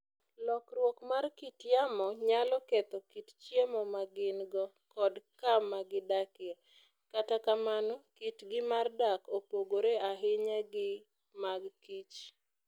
Lokruok mar kit yamo nyalo ketho kit chiemo ma gin - go kod kama gidakie. Kata kamano, kitgi mar dak opogore ahinya gi mag kich.